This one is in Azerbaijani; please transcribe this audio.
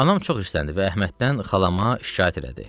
Anam çox hissləndi və Əhməddən xalama şikayət elədi.